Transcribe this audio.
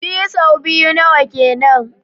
Biyu so biyu nawa kenan?